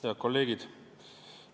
Head kolleegid!